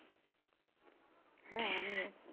হ্যাঁ আমিও